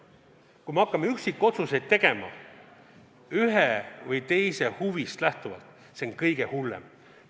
Kui me hakkame üksikotsuseid tegema ühe või teise huvidest lähtuvalt, siis see on kõige hullem.